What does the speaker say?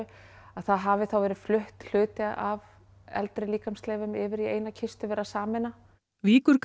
að það hafi þá verið fluttur hluti af eldri líkamsleifum yfir í eina kistu verið að sameina